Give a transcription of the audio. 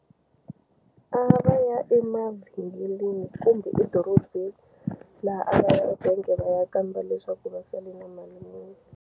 A va ya emavhengeleni kumbe edorobeni laha a nga ya ebangi va ya kamba leswaku va sele na mali muni.